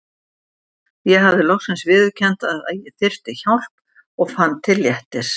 Ég hafði loksins viðurkennt að ég þyrfti hjálp og fann til léttis.